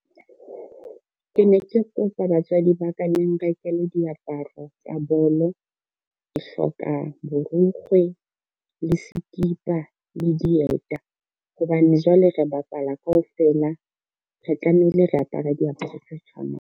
Ke ne ke kopa batswadi ba ka le nrekele diaparo tsa bolo. Ke hloka borukgwe, le sekipa, le dieta hobane jwale re bapala kaofela re tlamehile re apara diaparo tse tshwanang.